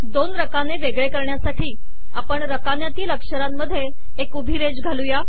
दोन रकाने वेगळे करण्यासाठी आपण रकान्यांतील अक्षरांमध्ये एक उभी रेष घालू या